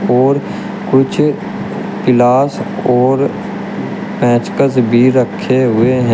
और कुछ पिलास और पेचकस भी रखे हुए हैं।